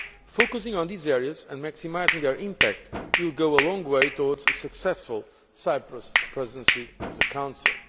Focusing on these areas and maximising their impact will go a long way towards a successful Cyprus Presidency of the Council.